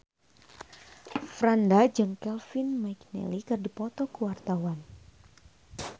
Franda jeung Kevin McNally keur dipoto ku wartawan